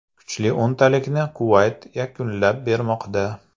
Kuchli o‘ntalikni Kuvayt yakunlab bermoqda.